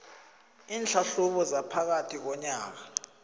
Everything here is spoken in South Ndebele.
iinhlahlubo zaphakathi konyaka